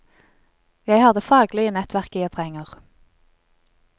Jeg har det faglige nettverket jeg trenger.